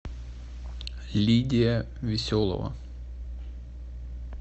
лидия веселова